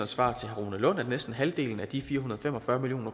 svar til herre rune lund at næsten halvdelen af de fire hundrede og fem og fyrre million